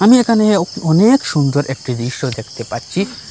আমি এখানে অনেক সুন্দর একটি দৃশ্য দেখতে পাচ্ছি।